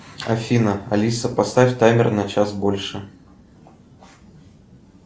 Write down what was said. афина алиса поставь таймер на час больше